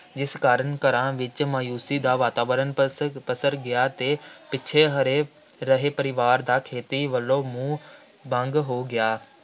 ਜਿਸ ਕਾਰਨ ਘਰਾਂ ਵਿੱਚ ਮਾਯੂਸ਼ੀ ਦਾ ਵਾਤਾਵਰਣ ਪਸ~ ਪਸਰ ਗਿਆ ਅਤੇ ਪਿੱਛੜ ਹਰੇ ਰਹੇ ਪਰਿਵਾਰ ਦਾ ਖੇਤੀ ਵੱਲੋਂ ਮੋਹ ਭੰਗ ਹੋ ਗਿਆ,